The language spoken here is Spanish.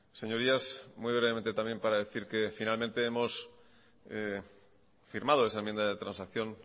señorías muy brevemente también para decir que finalmente hemos firmado esa enmienda de transacción